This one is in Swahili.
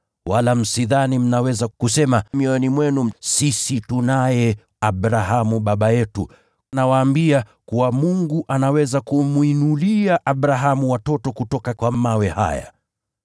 Wala msidhani mnaweza kusema mioyoni mwenu kuwa, ‘Sisi tunaye Abrahamu, baba yetu.’ Nawaambia kuwa Mungu anaweza kumwinulia Abrahamu watoto kutoka kwa mawe haya.